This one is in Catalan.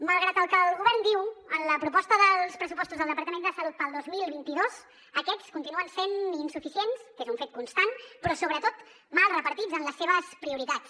malgrat el que el govern diu en la proposta dels pressupostos del departament de salut per al dos mil vint dos aquests continuen sent insuficients que és un fet constant però sobretot mal repartits en les seves prioritats